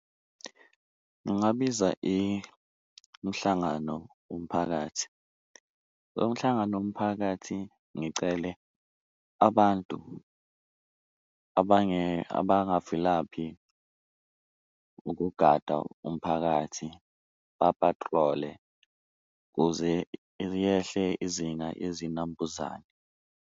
Ngingabiza umhlangano womphakathi lo mhlangano womphakathi, ngicele abantu abangavilaphi ukugada umphakathi ba-patrol-e kuze liyehle izinga yezinambuzane.